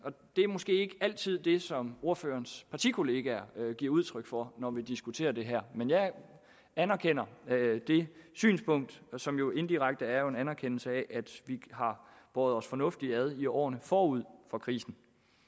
måske ikke altid det som ordførerens partikolleger giver udtryk for når vi diskuterer det her men jeg anerkender det synspunkt som jo indirekte er en anerkendelse af at vi har båret os fornuftigt ad i årene forud for krisen